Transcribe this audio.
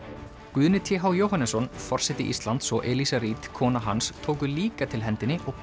Guðni t h Jóhannesson forseti Íslands og Eliza Reid kona hans tóku líka til hendinni og